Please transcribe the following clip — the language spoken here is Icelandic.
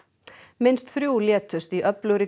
minnst þrjú létust í öflugri